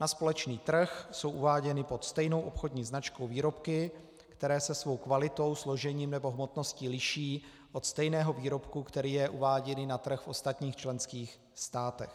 Na společný trh jsou uváděny pod stejnou obchodní značkou výrobky, které se svou kvalitou, složením nebo hmotností liší od stejného výrobku, jenž je uváděn na trh v ostatních členských státech.